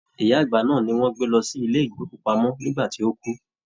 Ìyá àgbà náà ní wọn gbé lọ sí ilé ìgbòkúpamọ nígbà tí o kú.